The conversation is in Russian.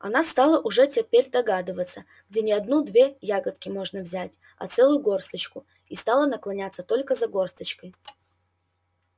она стала уже теперь догадываться где не одну-две ягодки можно взять а целую горсточку и стала наклоняться только за горсточкой